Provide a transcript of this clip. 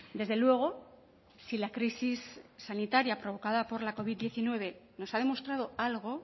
desde luego si la crisis sanitaria provocada por la covid diecinueve nos ha demostrado algo